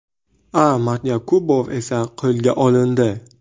A. Matyakubov esa qo‘lga olindi.